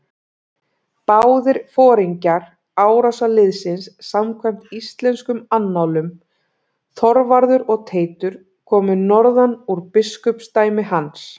Báðir foringjar árásarliðsins samkvæmt íslenskum annálum, Þorvarður og Teitur, komu norðan úr biskupsdæmi hans.